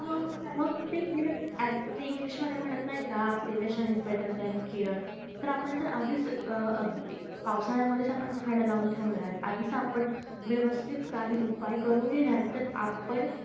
मग तेच ना ते english मध्ये म्हणत नाही का prevention is better then care जर आपण आधीच अं पावसाळ्यामध्ये आपण झाड लावून ठेवणार आधीच आपण व्यवस्तीत काही उपाय करून घेणार तर आपण